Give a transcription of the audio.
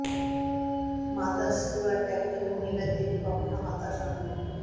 Martha Stewart একজন মহিলা যিনি কখনো হতাশ হন না